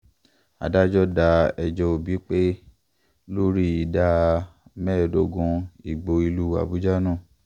adájọ́ da ẹjọ́ tí òbí pè lórí ìdá mẹ́ẹ̀ẹ́dọ́gbọ̀n ìbò ìlú àbújá nù